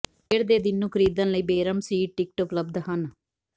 ਖੇਡ ਦੇ ਦਿਨ ਨੂੰ ਖਰੀਦਣ ਲਈ ਬੇਰਮ ਸੀਟ ਟਿਕਟ ਉਪਲਬਧ ਹਨ